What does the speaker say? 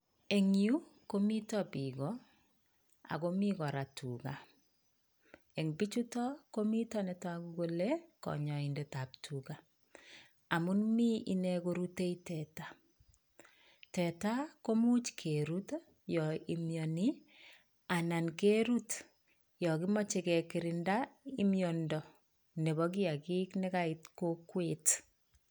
Eng yu komiten biik goo, ako mi kora tugaa. En bichutok komiten ne toogu kole konyoindetab tugaa, amun mi ine korute teta, teta komuch keerut yon mionii anan yon kimoche kegirinda miondoo Nebo kiyaagik nekait kokwet.